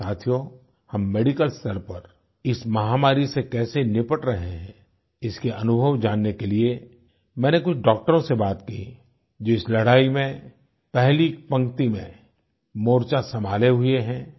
साथियों हम मेडिकल स्तर पर इस महामारी से कैसे निपट रहे हैं इसके अनुभव जानने के लिए मैंने कुछ डाक्टरों से बात की जो इस लड़ाई में पहली पंक्ति में मोर्चा संभाले हुए हैं